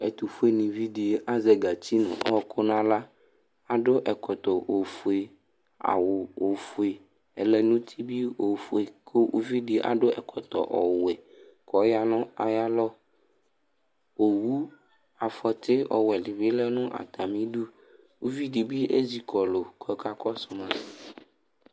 Ɛtʋfʋe nìví ɖi azɛ katsi ŋu ɔku ŋu aɣla Aɖu ɛkɔtɔ ɔfʋe, awu ɔfʋe, ɛlɛnuti bi ɔfʋe kʋ ʋviɖi bi aɖu ɛkɔtɔ ɔwɛ kʋ ɔya ŋu ayʋ alɔ Owu afɔti ɔwɛ ɖìbí ɔɖu atami iɖu Ʋviɖi bi ɛzikɔlu kʋ ɔka kɔsu ma